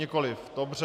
Nikoliv, dobře.